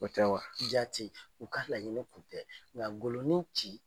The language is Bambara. O tɛ wa jaati u ka laɲini kun tɛ nka Ngolo ni